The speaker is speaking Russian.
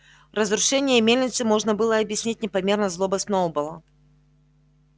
разрушение мельницы можно было объяснить непомерной злобой сноуболла